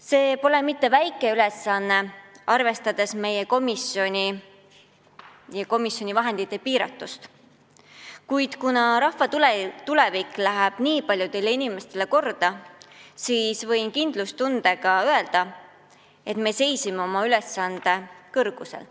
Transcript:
See pole mitte väike ülesanne, arvestades meie komisjoni väiksust ja komisjoni vahendite piiratust, kuid kuna rahva tulevik läheb nii paljudele inimestele korda, siis võin kindlustundega öelda, et me seisime oma ülesande kõrgusel.